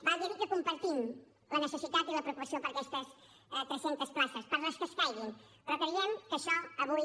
val a dir que compartim la necessitat i la preocupació per aquestes tres centes places per les que escaiguin però creiem que això avui